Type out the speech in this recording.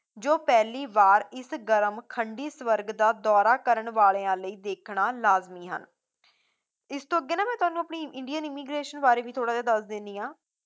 ਜੋ ਪਹਿਲੀ ਵਾਰ ਇਸ ਗਰਮ ਖੰਡੀ ਸਵਰਗ ਦਾ ਦੌਰਾ ਕਰਨ ਵਾਲਿਆਂ ਲਈ ਦੇਖਣਾ ਲਾਜ਼ਮੀ ਹਨ ਇਸਤੋਂ ਅੱਗੇ ਨਾ ਮੈਂ ਤੁਹਾਨੂੰ ਆਪਣੀ indian immigration ਬਾਰੇ ਵੀ ਥੋੜਾ ਜਿਹਾ ਦੱਸ ਦੇਣੀ ਆ